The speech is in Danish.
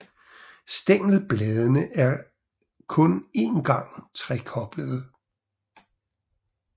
Stængelbladene er kun en gang trekoblede